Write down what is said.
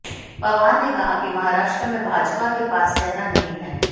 पवार ने कहा कि महाराष्ट्र में भाजपा के पास चेहरा नहीं है